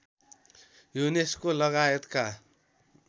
UNESCO लगायतका